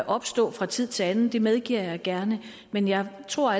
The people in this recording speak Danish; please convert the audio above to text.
opstå fra tid til anden det medgiver jeg gerne men jeg tror